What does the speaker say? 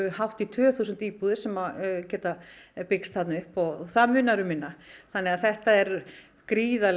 hátt í tvö þúsund íbúðir sem geta byggst þar upp og það munar um minna þannig að þetta er gríðarlega